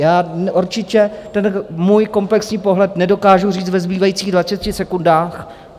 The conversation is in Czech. Já určitě ten svůj komplexní pohled nedokážu říct ve zbývajících 20 sekundách.